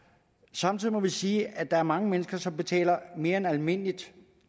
samtidig må vi sige at der er mange mennesker som betaler mere end almindeligt